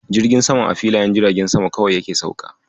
Jirgin saman a filayen jiragen sama kawai yake sauka.